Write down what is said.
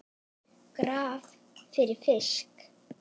Graf fyrir fisk.